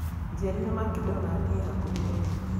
njiĩrira McDonald ĩ hakũhĩ mũno